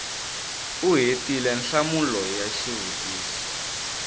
u hetile nhlamulo ya xivutiso